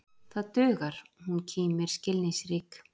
Það dugar, hún kímir skilningsrík.